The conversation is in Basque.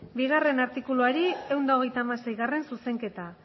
bigarrena artikuluari seigarrena zuzenketa